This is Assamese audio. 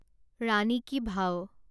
ৰাণী কি ভাৱ